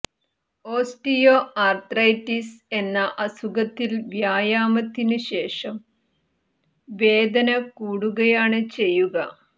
osteo arthritis എന്ന അസുഖത്തിൽ വ്യായാമത്തിനു ശേഷം വേദന കൂടുകയാണ് ചെയ്യുക